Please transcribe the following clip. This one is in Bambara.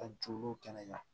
Ka juru kɛnɛya